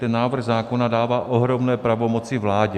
Ten návrh zákona dává ohromné pravomoci vládě.